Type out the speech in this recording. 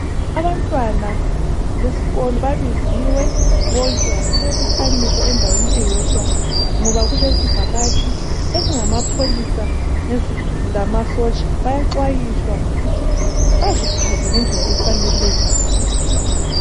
Abantwana besikolo babiziwe bonke basebebuthaniswa endaweni eyodwa ngoba kulezivakatshi ezingamapholisa lamasotsha bayaxhwayisa ngokuthi baziphathe ngendlela efaneleyo.